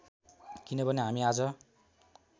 किनभने हामी आज